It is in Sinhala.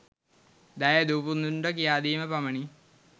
දැයේ දූපුතුන්ට කියාදීම පමණි.